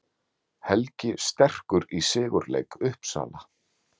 Helgi sterkur í sigurleik Uppsala